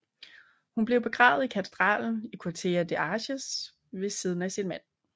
Hun blev begravet i katedralen i Curtea de Argeș ved siden af sin mand